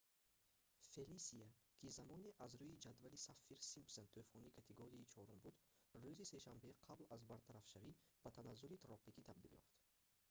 фелисия ки замоне аз рӯи ҷадвали саффир-симпсон тӯфони категорияи 4-уми буд рӯзи сешанбе қабл аз бартарафшавӣ ба таназзули тропикӣ табдил ёфт